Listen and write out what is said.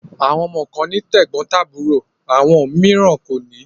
Àwọn ọmọ kan ní tẹ́gbọ́ntàbúrò àwọn mìíràn kò ní.